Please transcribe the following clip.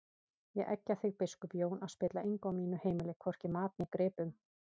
Ég eggja þig biskup Jón að spilla engu á mínu heimili, hvorki mat né gripum!